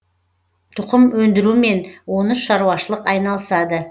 тұқым өндірумен он үш шаруашылық айналысады